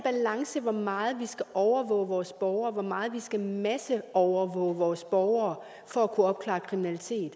til hvor meget vi skal overvåge vores borgere hvor meget vi skal masseovervåge vores borgere for at kunne opklare kriminalitet